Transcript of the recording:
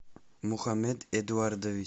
мухамед эдуардович